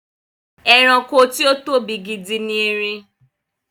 Ẹranko tí ó tóbi gidi ni erin.